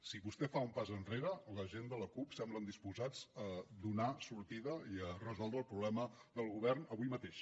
si vostè fa un pas enrere la gent de la cup semblen disposats a donar sortida i a resoldre el problema del govern avui mateix